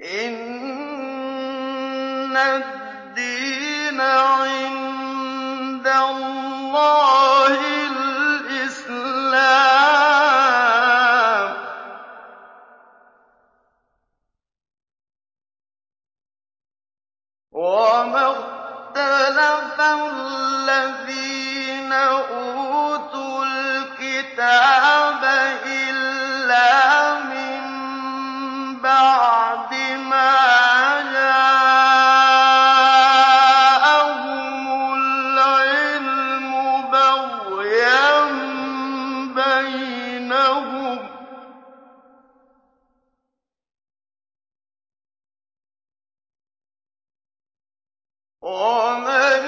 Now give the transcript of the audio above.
إِنَّ الدِّينَ عِندَ اللَّهِ الْإِسْلَامُ ۗ وَمَا اخْتَلَفَ الَّذِينَ أُوتُوا الْكِتَابَ إِلَّا مِن بَعْدِ مَا جَاءَهُمُ الْعِلْمُ بَغْيًا بَيْنَهُمْ ۗ وَمَن